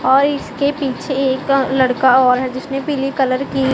और इसके पीछे एक लड़का और है जिसने पीली कलर की--